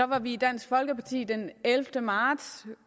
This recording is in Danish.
var vi i dansk folkeparti den ellevte marts